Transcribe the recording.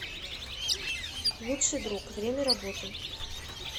лучший друг время работы